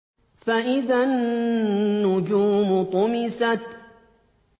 فَإِذَا النُّجُومُ طُمِسَتْ